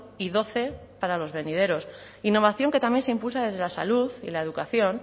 y doce para los venideros innovación que también se impulsa desde la salud y la educación